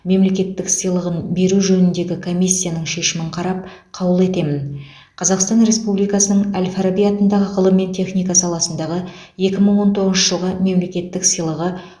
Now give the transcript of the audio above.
мемлекеттік сыйлығын беру жөніндегі комиссияның шешімін қарап қаулы етемін қазақстан республикасының әл фараби атындағы ғылым мен техника саласындағы екі мың он тоғызыншы жылғы мемлекеттік сыйлығы